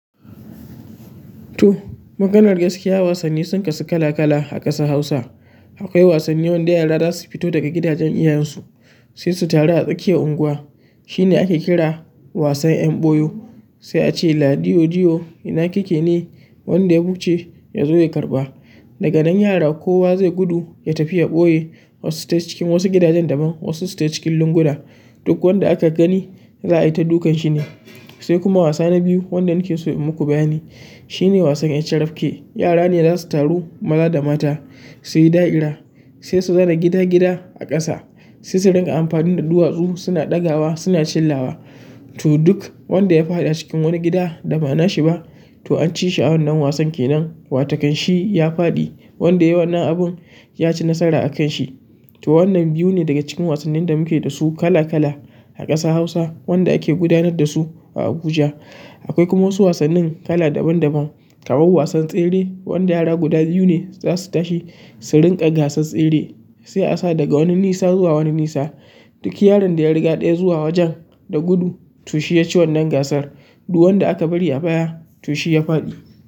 To, maganar gaskiya wasanni sun kasu kala kala a ƙasar Hausa. Akwai wasannin wan da yara za su fito daga gidajen iyayensu sai su taru a tsakiyar unguwa. Shine ake kira wasan 'yan ɓoyo sai a ce "ladiyo, diyo ina kike ne?" wanda ya buce ya zo ya karɓa. Daga nan yara kowa zai gudu ya tafi ya ɓoye, wasu su tai cikin wasu gidajen daban, wasu tai cikin lunguna. Duk wanda aka gani za a yi ta dukan shi ne. Sai kuma wasa na biyu wanda nake so in muku bayani shine wasan 'yan carafke. Yara ne za su taru maza da mata su yi da'ira, sai su za na gida gida a ƙasa sai su riƙa amfanin da duwatsu suna ɗaga wa suna chillawa. To duk wanda ya faɗi a cikin wani gida da ba na shi ba to an ci shi a wannan wasan ke nan. Wataƙan shi ya faɗi wanda yayi wannan abun ya ci nasara a kan shi. To wannan biyu ne daga cikin wasannin da muke da su kala kala a ƙasa Hausa wanda ake gudanar da su a Abuja. Akwai kuma wasu wasannin kala daban daban kamar wasan tsere wanda yara guda biyu ne za su tashi su rinƙa gasar tsere sai a sa daga wani nisa zuwa wani nisa. Duk yaron da ya riga ɗaya zuwa wajen da gudu to shi ya ci wannan gasar. Duk wanda aka bari a baya to shi ya faɗi.